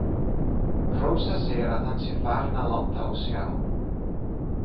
Rósa segir að hann sé farinn að láta á sjá.